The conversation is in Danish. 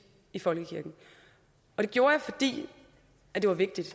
i folkekirken og det gjorde jeg fordi det var vigtigt